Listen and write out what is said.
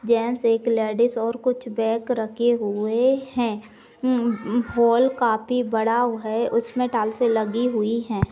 Gents एक ladies और कुछ बैग रखे हुए है हं-हं-हौल काफी बड़ाव है उसमे टालसे लगी हुए है।